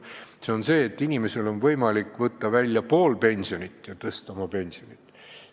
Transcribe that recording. See on see, et inimesel on võimalik võtta välja pool pensionit ja niimoodi tõsta oma pensionit.